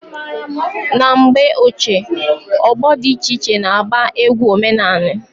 Na mgbe ochie ọgbọ dị iche iche na agba egwu omenani.